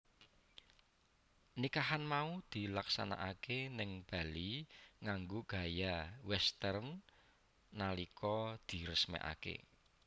Nikahan mau dilaksanakaké ning Bali nganggo gaya Western nalika diresmikaké